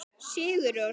Sigur Rós.